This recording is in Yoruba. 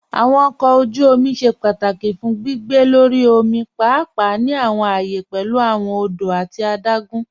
Awọn ọkọ ojú òmì ṣẹ́ pátákì fún gbìgbé lọ́rí òmì, páàpáà ní awọn ààyẹ̀ pẹ̀lú awọn òdò àti àdágùn.